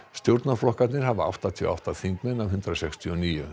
stjórnarflokkarnir hafa áttatíu og átta þingmenn af hundrað sextíu og níu